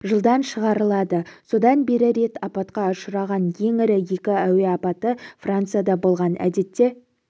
жылдан шығарылады содан бері рет апатқа ұшыраған ең ірі екі әуе апаты францияда болған әдетте